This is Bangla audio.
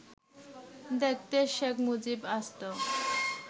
দেখতে শেখ মুজিব আসত